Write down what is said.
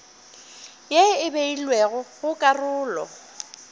ye e beilwego go karolo